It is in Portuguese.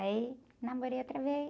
Aí, namorei outra vez.